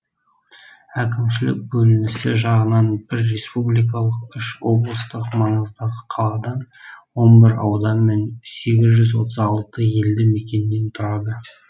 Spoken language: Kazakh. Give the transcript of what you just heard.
әкімшілік бөлінісі жағынан бір республикалық үш облыстық маңыздағы қаладан он бір аудан мен сегіз жүз отыз алты ел мекеннен тұрады